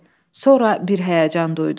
Sonra bir həyəcan duydu.